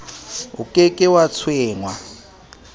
o ke ke wa tshwengwa